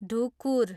ढुकुर